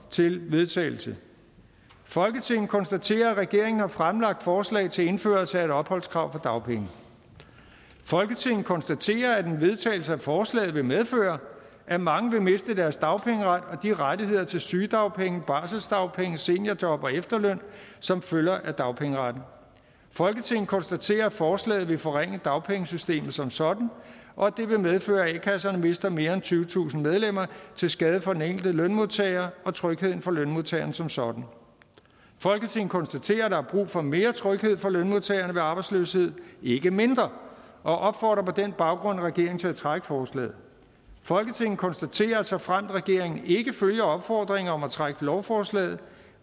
til vedtagelse folketinget konstaterer at regeringen har fremsat forslag til indførelse af et opholdskrav for dagpenge folketinget konstaterer at en vedtagelse af forslaget vil medføre at mange vil miste deres dagpengeret og de rettigheder til sygedagpenge barselsdagpenge seniorjob og efterløn som følger af dagpengeretten folketinget konstaterer at forslaget vil forringe dagpengesystemet som sådan og at det vil medføre at a kasserne mister mere end tyvetusind medlemmer til skade for den enkelte lønmodtager og trygheden for lønmodtagerne som sådan folketinget konstaterer at der er brug for mere tryghed for lønmodtagerne ved arbejdsløshed ikke mindre og opfordrer på den baggrund regeringen til at trække forslaget folketinget konstaterer at såfremt regeringen ikke følger opfordringen om at trække lovforslaget